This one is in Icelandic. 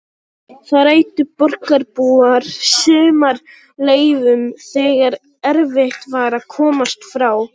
Þar eyddu borgarbúar sumarleyfum þegar erfitt var að komast frá